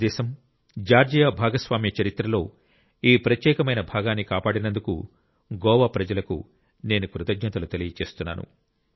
భారతదేశం జార్జియా భాగస్వామ్య చరిత్రలో ఈ ప్రత్యేకమైన భాగాన్ని కాపాడినందుకు గోవా ప్రజలకు నేను కృతజ్ఞతలు తెలియజేస్తున్నాను